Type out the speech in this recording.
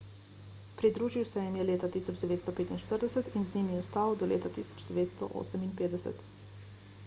pridružil se jim je leta 1945 in z njimi ostal do leta 1958